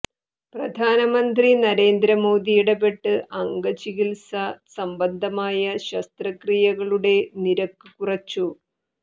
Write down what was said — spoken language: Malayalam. പ്രധാമനമന്ത്രി നരേന്ദ്ര മോദി ഇടപെട്ട് അംഗചികിത്സ സംബന്ധമായ ശസ്ത്രക്രിയകളുടെ നിരക്ക് കുറച്ചു